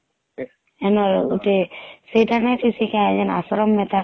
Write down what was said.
ସେଇଟା ନେଇଛୁ ସେଇଟା ଜଣେ ଆଶ୍ରମ ଗୁଟେ